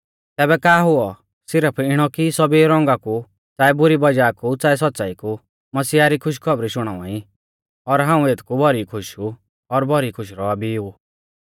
तैबै का हुऔ सिरफ इणौ कि सौभी रौंगा कु च़ाऐ बुरी वज़ाह कु च़ाऐ सौच़्च़ाई कु मसीहा री खुशखौबरी शुणावा ई और हाऊं एथकु भौरी खुश ऊ और भौरी खुश रौआ भी ऊ